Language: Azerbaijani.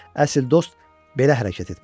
Əsl dost belə hərəkət etməlidir.